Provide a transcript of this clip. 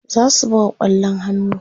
zasu buga kwallon hannu